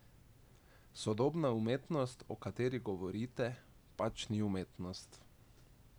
Sodobna umetnost, o kateri govorite, pač ni umetnost.